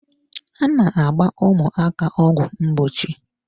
A na-agba ụmụaka ọgwụ ngbochi.